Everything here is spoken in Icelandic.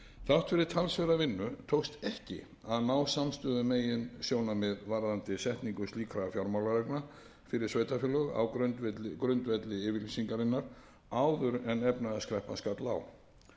þrátt fyrir talsverða vinnu tókst ekki að ná samstöðu um meginsjónarmið varðandi setningu slíkra fjármálareglna fyrir sveitarfélög á grundvelli yfirlýsingarinnar áður en efnahagskreppan skall á